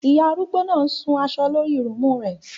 Iyà arúgbó náà ń ṣun aṣọ lọ́rí lúùmu rẹ